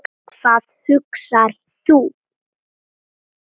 Hvað hugsar þú?